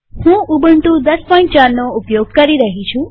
હું ઉબુન્ટુ ૧૦૦૪નો ઉપયોગ કરી રહી છું